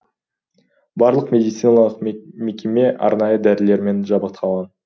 барлық медициналық мекеме арнайы дәрілермен жабдықталған